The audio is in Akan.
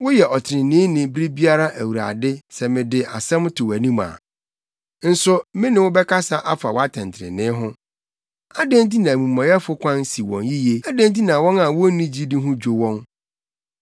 Woyɛ ɔtreneeni bere biara, Awurade, sɛ mede asɛm to wʼanim a. Nso me ne wo bɛkasa afa wʼatɛntrenee ho: Adɛn nti na amumɔyɛfo kwan si wɔn yiye? Adɛn nti na wɔn a wonni gyidi ho dwo wɔn?